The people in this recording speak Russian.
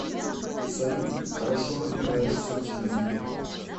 салют хорошо разбираешься в жизни